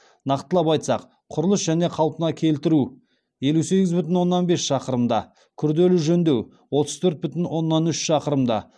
нақтылап айтсақ құрылыс және қалпына келтіру елу сегіз бүтін оннан бес шақырымда күрделі жөндеу отыз төрт бүтін оннан үш шақырымда